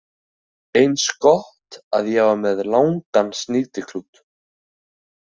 Eins gott að ég var með langan snýtiklút